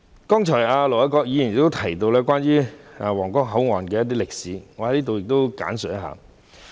盧偉國議員剛才提到皇崗口岸的一些歷史，我在此亦略作簡介。